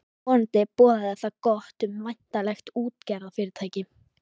Vonandi boðaði það gott um væntanlegt útgerðarfyrirtæki.